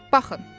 Baxın.